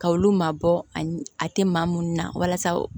Ka olu mabɔ a tɛ maa minnu na walasa